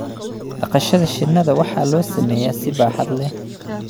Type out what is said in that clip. dhaqashada shinnida waxaa loo sameeyaa si baaxad leh.